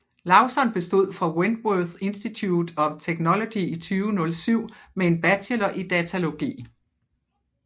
Lauzon bestod fra Wentworth Institute of Technology i 2007 med en Bachelor i datalogi